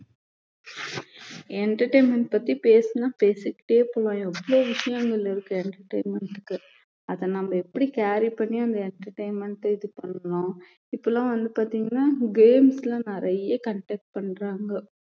entertainment பத்தி பேசுனா பேசிக்கிட்டே போவலாம் எவ்வளவு விஷயங்கள் இருக்கு entertainment க்கு அத நம்ம எப்படி carry பண்ணி அந்த entertainment அ இது பண்ணணும் இப்பல்லாம் வந்து பார்த்தீங்கன்னா games ல்லாம் நிறைய conduct பண்றாங்க